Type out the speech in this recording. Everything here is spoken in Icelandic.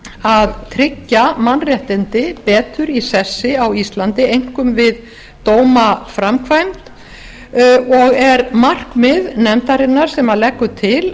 að tryggja mannréttindi betur í sessi á íslandi einkum við dómaframkvæmd og er markmið nefndarinnar sem leggur til